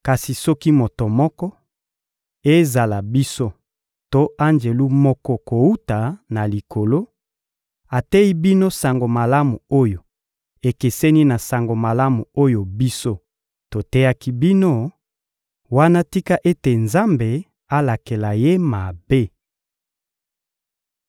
Kasi soki moto moko, ezala biso to Anjelu moko kowuta na Likolo, ateyi bino sango malamu oyo ekeseni na Sango Malamu oyo biso toteyaki bino, wana tika ete Nzambe alakela ye mabe!